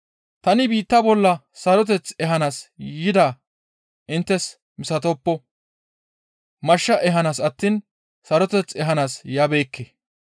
«Tani biitta bolla saroteth ehanaas yidaa inttes misatoppo; mashsha ehanaas attiin saroteth ehanaas yabeekke.